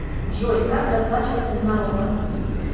джой как расплачиваться в марокко